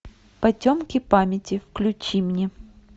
потемки памяти включи мне